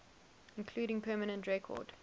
including permanent record